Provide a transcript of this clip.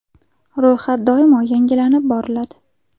Ro‘yxat doimo yangilanib boriladi.